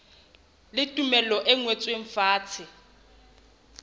le tumello e ngotsweng fatshe